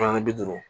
bi duuru